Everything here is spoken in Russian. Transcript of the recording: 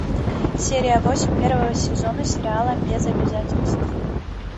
серия восемь первого сезона сериала без обязательств